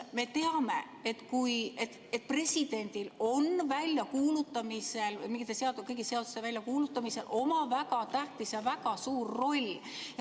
Me teame, et presidendil on kõigi seaduste väljakuulutamisel oma väga tähtis ja väga suur roll.